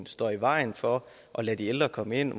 står i vejen for at lade de ældre komme ind